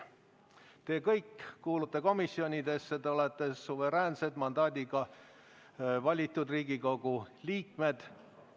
Te kõik kuulute komisjonidesse, te olete suveräänsed mandaadiga valitud Riigikogu liikmed.